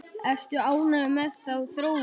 Ertu ánægður með þá þróun?